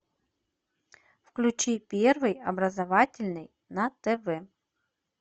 включи первый образовательный на тв